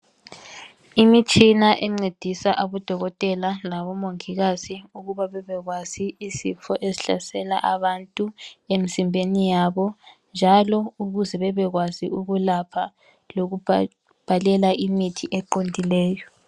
Imitshina encedisa abodokotela labo mongikazi ukuba bebekwazi isifo esihlasela abantu emzimbeni yabo njalo ukuze bebekwazi ukulapha lokubhalela imithi eqondileyo.